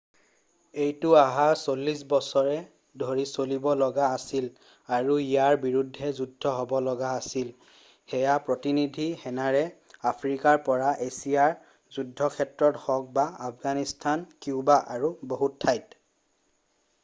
এইটো অহা 40 বছৰ ধৰি চলিব লগা আছিল আৰু ইয়াৰ বিৰুদ্ধে যুদ্ধ হ'ব লগা আছিল সেয়া প্ৰতিনিধি সেনাৰে আফ্ৰিকাৰ পৰা এছিয়াৰ যুদ্ধক্ষেত্ৰত হওক বা আফগানিস্তান কিউবা আৰু বহু ঠাইত।